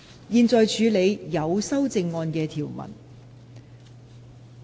現在處理有修正案的條文。